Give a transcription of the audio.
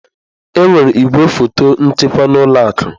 Enwere igwefọtọ nchekwa na ụlọ akụ.